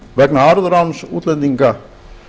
vegna arðráns útlendinga